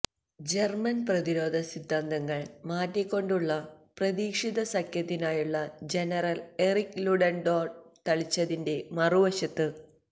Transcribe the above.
German പ്രതിരോധ സിദ്ധാന്തങ്ങൾ മാറ്റിക്കൊണ്ടുള്ള പ്രതീക്ഷിത സഖ്യത്തിനായുള്ള ജനറൽ എറിക് ലുഡൻഡോർഫ് തളിച്ചതിന്റെ മറുവശത്ത്